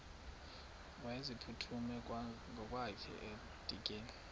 wayeziphuthume ngokwakhe edikeni